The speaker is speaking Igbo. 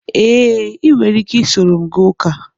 Ee, ị nwere ike soro m gaa ụka